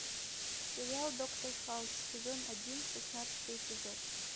сериал доктор хаус сезон один шестнадцатый эпизод